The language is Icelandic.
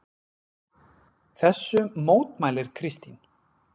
Þessu mótmælir Kristín.